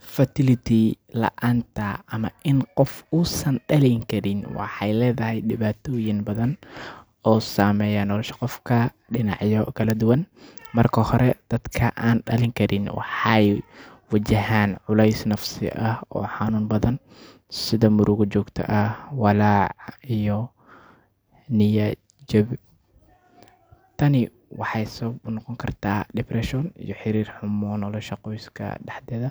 Fertility laanta ama in qof uu San dalin Karin waxey leedhahy dibaatoyiin badhan oo saameya nolosha qofka dinacya kaladuna. Marka hore dadka aan dalin Karin waxey wajahaan culey nafasi ah oo xanuun badhan sidha murugo joogto ah walaac iyo niyad jab . Tani waxey sawab unoqonkarta depression iyo xiriira xumo nolosha qoyska daxdedha.